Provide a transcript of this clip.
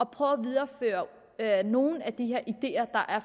prøve at videreføre nogle af de her ideer der er